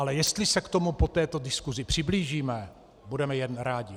Ale jestli se k tomu po této diskusi přiblížíme, budeme jen rádi.